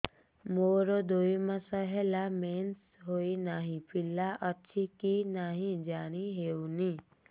ମୋର ଦୁଇ ମାସ ହେଲା ମେନ୍ସେସ ହୋଇ ନାହିଁ ପିଲା ଅଛି କି ନାହିଁ ଜାଣି ହେଉନି